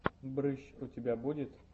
брыщ у тебя будет